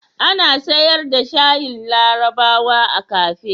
Ana sayar da shayin larabawa a kafe?